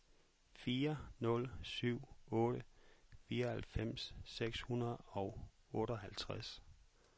fire nul syv otte fireoghalvfems seks hundrede og otteoghalvtreds